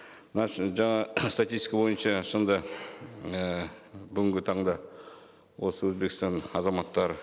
мына жаңа статистика бойынша шынында і бүгінгі таңда осы өзбекстан азаматтары